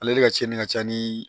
Ale de ka tiɲɛni ka ca ni